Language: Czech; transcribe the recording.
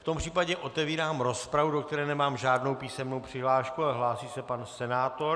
V tom případě otevírám rozpravu, do které nemám žádnou písemnou přihlášku, ale hlásí se pan senátor.